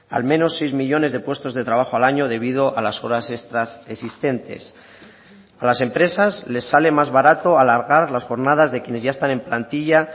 al menos seis millónes de puestos de trabajo al año debido a las horas extras existentes a las empresas les sale más barato alargar las jornadas de quienes ya están en plantilla